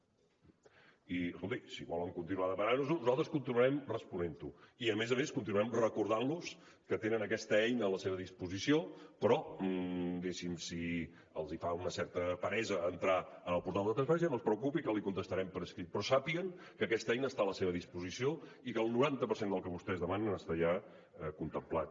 i escolti si volen continuar demanant nos ho nosaltres continuarem responent ho i a més a més continuarem recordant los que tenen aquesta eina a la seva disposició però diguéssim si els fa una certa peresa entrar en el portal de transparència no es preocupi que li contestarem per escrit però sàpiguen que aquesta eina està a la seva disposició i que el noranta per cent del que vostès demanen està ja contemplat